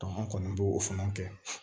an kɔni b'o fana kɛ